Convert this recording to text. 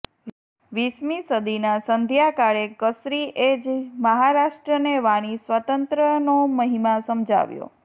વીસમી સદીના સંઘ્યાકાળે કસરી એ જ મહારાષ્ટ્રને વાણી સ્વાતંત્રયનો મહિમા સમજાવ્યો